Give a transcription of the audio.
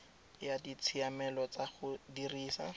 ya ditshiamelo tsa go dirisa